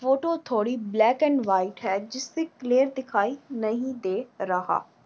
Photo थोड़ी black and white है जिससे क्लीयर दिखाई नही दे रहा।